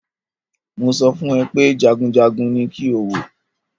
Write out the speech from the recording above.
Mo sọ fún ẹ pé jagunjagun ní kí o wò!